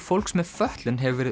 fólks með fötlun hefur verið